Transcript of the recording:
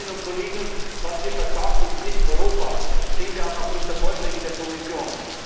gewinnen. Liebe Kolleginnen und Kollegen, was hier versagt, ist nicht Europa, das sehen wir auch aufgrund der Vorschläge der Kommission.